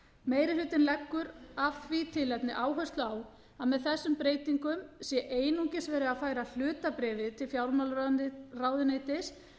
meiri hlutinn leggur af því tilefni áherslu á að með þessum breytingum sé einungis verið að færa hlutabréfið til fjármálaráðuneytis